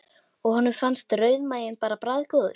Og honum fannst rauðmaginn bara bragðgóður.